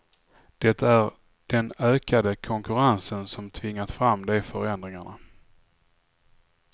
Det är den ökade konkurrensen som tvingat fram de förändringarna.